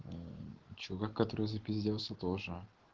мм чувак который запизделся тоже